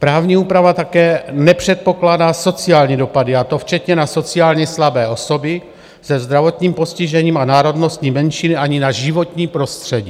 Právní úprava také nepředpokládá sociální dopady, a to včetně na sociálně slabé osoby se zdravotním postižením a národnostní menšiny ani na životní prostředí.